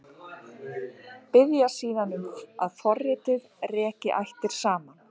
Biðja síðan um að forritið reki ættirnar saman.